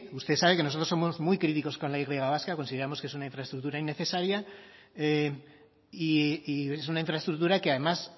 usted sabe que nosotros somos muy críticos con la y vasca consideramos que es una infraestructura innecesaria y es una infraestructura que además